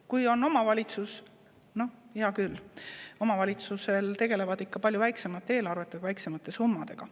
Kui on omavalitsus – no hea küll, omavalitsused tegelevad ikka palju väiksemate eelarvete ja väiksemate summadega.